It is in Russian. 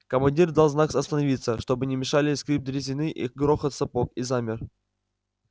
командир дал знак остановиться чтобы не мешали скрип дрезины и грохот сапог и замер